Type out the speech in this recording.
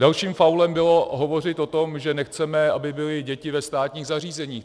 Dalším faulem bylo hovořit o tom, že nechceme, aby byly děti ve státních zařízeních.